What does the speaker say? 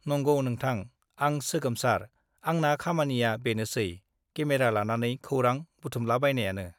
नंगौ नोंथां , आं सोगोमसार , आंना खामानिया बेनोसै , केमेरा लानानै खौरां बुथुमलाबायनायानो ।